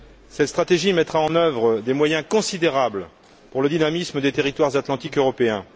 Cette stratégie mettra en œuvre des moyens considérables pour le dynamisme des territoires atlantiques européens.